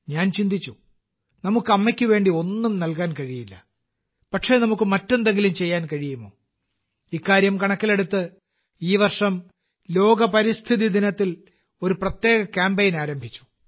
ഞാൻ ചിന്തിച്ചു നമുക്ക് അമ്മയ്ക്ക് വേണ്ടി ഒന്നും നൽകാൻ കഴിയില്ല പക്ഷേ നമുക്ക് മറ്റെന്തെങ്കിലും ചെയ്യാൻ കഴിയുമോ ഇക്കാര്യം കണക്കിലെടുത്ത് ഈ വർഷം ലോക പരിസ്ഥിതിദിനത്തിൽ ഒരു പ്രത്യേക കാമ്പെയ്ൻ ആരംഭിച്ചു